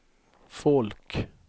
folk